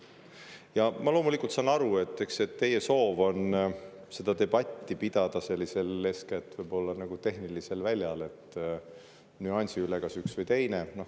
Ma saan loomulikult aru, et teie soov on seda debatti pidada eeskätt võib-olla nagu sellisel tehnilisel väljal, nüansi üle, et kas üks või teine.